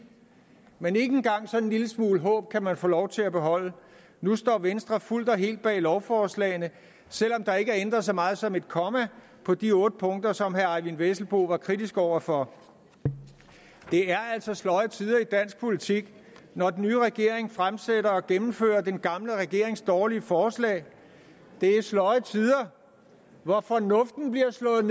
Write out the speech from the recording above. men ikke engang sådan en lille smule håb kan man få lov til at beholde nu står venstre fuldt og helt bag lovforslagene selv om der ikke er ændret så meget som et komma på de otte punkter som herre eyvind vesselbo var kritisk over for det er altså sløje tider i dansk politik når den nye regering fremsætter og gennemfører den gamle regerings dårlige forslag det er sløje tider hvor fornuften bliver slået